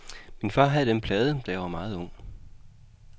Min far havde den plade, da jeg var meget ung.